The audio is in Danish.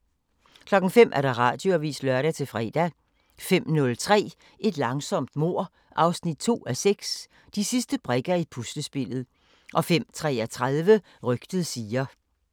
05:00: Radioavisen (lør-fre) 05:03: Et langsomt mord 2:6 – De sidste brikker i puslespillet 05:33: Rygtet siger